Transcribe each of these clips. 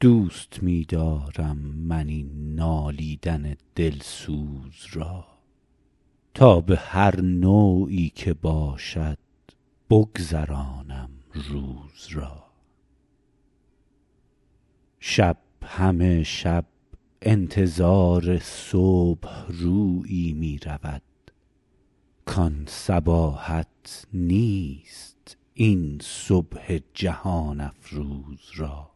دوست می دارم من این نالیدن دلسوز را تا به هر نوعی که باشد بگذرانم روز را شب همه شب انتظار صبح رویی می رود کان صباحت نیست این صبح جهان افروز را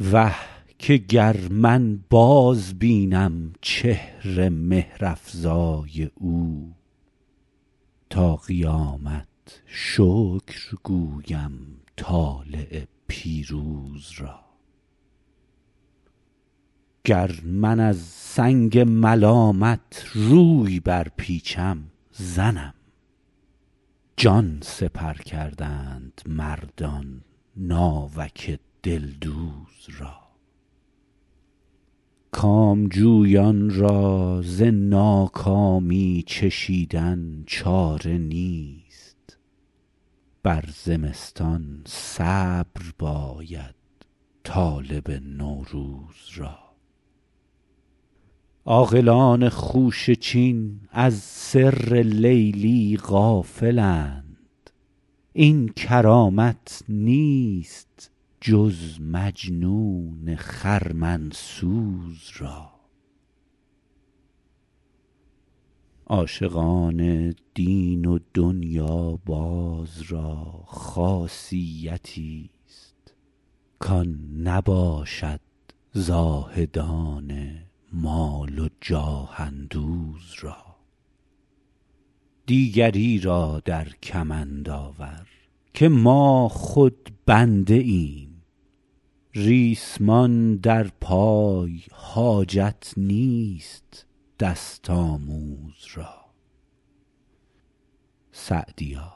وه که گر من بازبینم چهر مهرافزای او تا قیامت شکر گویم طالع پیروز را گر من از سنگ ملامت روی برپیچم زنم جان سپر کردند مردان ناوک دلدوز را کامجویان را ز ناکامی چشیدن چاره نیست بر زمستان صبر باید طالب نوروز را عاقلان خوشه چین از سر لیلی غافلند این کرامت نیست جز مجنون خرمن سوز را عاشقان دین و دنیاباز را خاصیتیست کان نباشد زاهدان مال و جاه اندوز را دیگری را در کمند آور که ما خود بنده ایم ریسمان در پای حاجت نیست دست آموز را سعدیا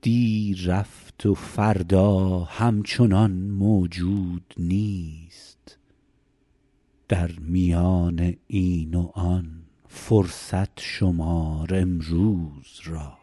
دی رفت و فردا همچنان موجود نیست در میان این و آن فرصت شمار امروز را